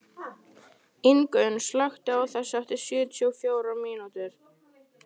Ingunn, slökktu á þessu eftir sjötíu og fjórar mínútur.